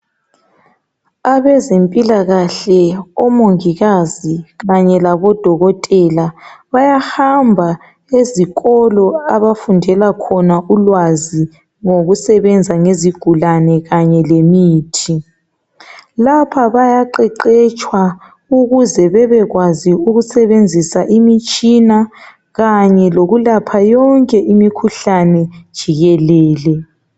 Abezempilakahle omongikazi kanye labodokotela bayahamba ezikolo abafundela khona ulwazi ngokusebenza ngezigulane kanye lemithi lapha bayaqeqetshwa ukuze bebekwazi ukusebenzisa imitshina kanye lokulapha yonke imikhuhlane jikelele.